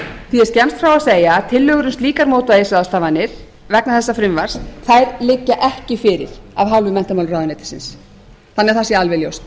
því er skemmst frá að segja að tillögur um slíkar mótvægisráðstafanir vegna þessa frumvarp þær liggja ekki fyrir af hálfu menntamálaráðuneytisins svo það sé alveg ljóst